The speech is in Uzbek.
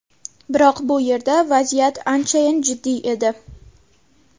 Biroq bu yerda vaziyat anchayin jiddiy edi.